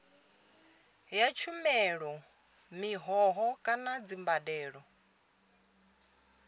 ya tshumelo mihoho kana dzimbadelo